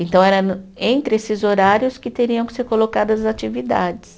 Então, era no, entre esses horários que teriam que ser colocadas as atividades.